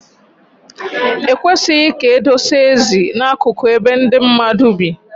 Ekwesịghị ka edosa esi na-akụkụ ebe ndị mmadụ bi.